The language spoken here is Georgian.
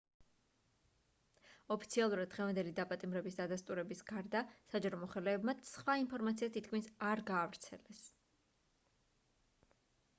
ოფიციალურად დღევანდელი დაპატიმრების დადასტურების გარდა საჯარო მოხელეებმა სხვა ინფორმაცია თითქმის არ გაავრცელეს